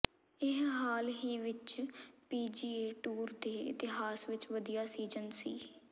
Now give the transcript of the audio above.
ਇਹ ਹਾਲ ਹੀ ਵਿੱਚ ਪੀਜੀਏ ਟੂਰ ਦੇ ਇਤਿਹਾਸ ਵਿੱਚ ਵਧੀਆ ਸੀਜ਼ਨ ਸੀ